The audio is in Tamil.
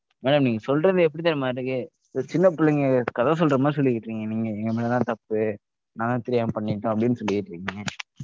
Madam நீங்க சொல்றது எப்படி தெரியுமா இருக்கு? ஒரு சின்ன பிள்ளைங்க கதை சொல்ற மாதிரி சொல்லிகிட்டுருக்கீங்க நீங்க எங்க மேல தான் தப்பு நான் தான் தெரியாம பண்ணிட்டோம்! அப்படின்னு சொல்லிகிட்டுருக்கீங்க.